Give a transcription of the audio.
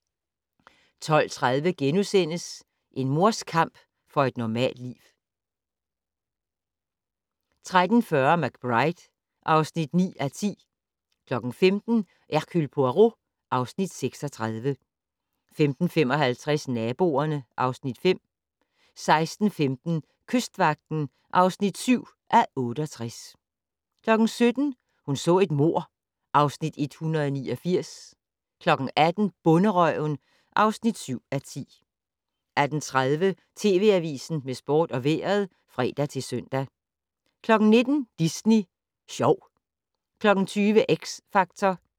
12:30: En mors kamp for et normalt liv * 13:40: McBride (9:10) 15:00: Hercule Poirot (Afs. 36) 15:55: Naboerne (Afs. 5) 16:15: Kystvagten (7:68) 17:00: Hun så et mord (Afs. 189) 18:00: Bonderøven (7:10) 18:30: TV Avisen med sport og vejret (fre-søn) 19:00: Disney sjov 20:00: X Factor